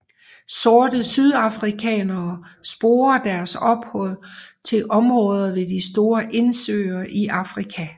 Sorte sydafrikanere sporer deres ophav til områder ved de store indsøer i Afrika